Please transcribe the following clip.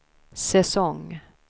säsong